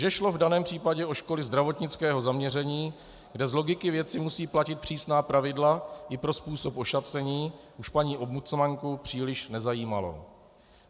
Že šlo v daném případě o školy zdravotnického zaměření, kde z logiky věci musí platit přísná pravidla i pro způsob ošacení, už paní ombudsmanku příliš nezajímalo.